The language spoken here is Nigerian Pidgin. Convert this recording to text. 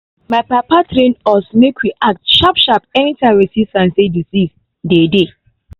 my papa train us make we act sharp sharp anytime we see sign say disease dey dey